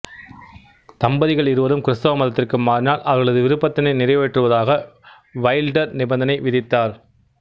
தம்பதிகள் இருவரும் கிறித்தவ மதத்திற்கு மாறினால் அவர்களது விருப்பத்தினை நிறைவேற்றுவதாக வைல்டர் நிபந்தனை விதித்தார்